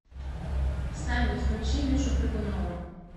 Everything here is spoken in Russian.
салют включи мишу прыгунова